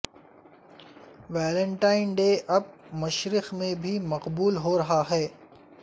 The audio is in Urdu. ویلنٹائن ڈے اب مشرق میں بھی مقبول ہورہا ہے